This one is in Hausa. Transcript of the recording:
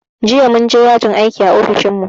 Jiya mun je yajin aiki a ofishin mu